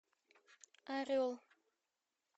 орел